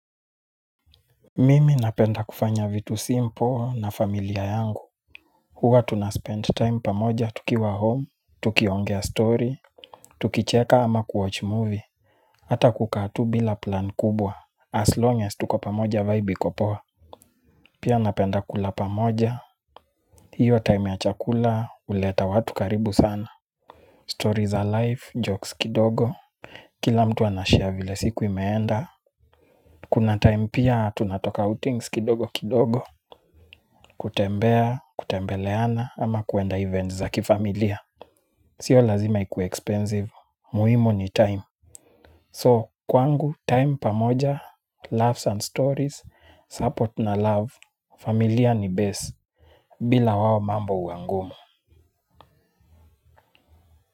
Mimi napenda kufanya vitu simple na familia yangu. Hua tunaspend time pamoja tukiwa home. Tukiongea story. Tukicheka ama kuwatch movie. Hata kukaa tu bila plan kubwa As long as tuko pamoja vibe iko poa. Pia napenda kula pamoja. Hiyo time ya chakula huleta watu karibu sana. Stories za life, jokes kidogo. Kila mtu anashare vile siku imeenda. Kuna time pia tunatoka outings kidogo kidogo. Kutembea, kutembeleana ama kuenda events za kifamilia. Sio lazima ikuwe expensive, muhimu ni time So kwangu, time pamoja, loves and stories, support na love. Familia ni best, bila wao mambo huwa ngumu.